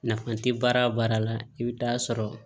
Nafa tɛ baara o baara la i bɛ taa sɔrɔ